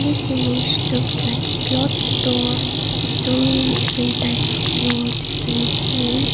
this image looks like a cloth store and so many different types of clothes can be seen.